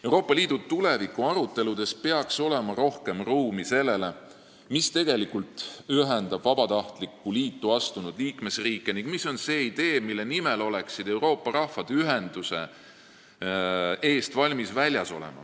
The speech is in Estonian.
Euroopa Liidu tuleviku aruteludes peaks olema rohkem ruumi sellele, mis tegelikult ühendab vabatahtlikku liitu astunud liikmesriike ning mis on see idee, mille nimel oleksid Euroopa rahvad valmis ühenduse eest väljas olema.